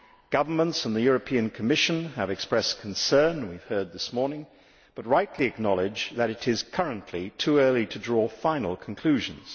Governments and the European Commission have expressed concern, we have heard this morning, but rightly acknowledge that it is currently too early to draw final conclusions.